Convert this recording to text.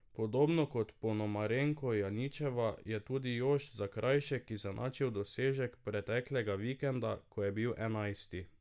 Podobno kot Ponomarenko Janićeva je tudi Jošt Zakrajšek izenačil dosežek preteklega vikenda, ko je bil enajsti.